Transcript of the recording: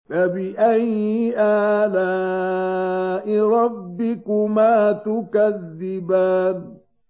فَبِأَيِّ آلَاءِ رَبِّكُمَا تُكَذِّبَانِ